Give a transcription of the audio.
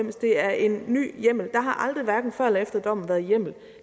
og det er en ny hjemmel der har aldrig hverken før eller efter dommen været hjemmel